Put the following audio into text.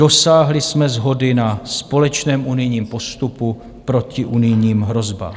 Dosáhli jsme shody na společném unijním postupu proti unijním hrozbám.